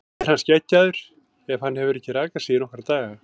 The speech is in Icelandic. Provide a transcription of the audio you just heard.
Er hann skeggjaður ef hann hefur ekki rakað sig í nokkra daga?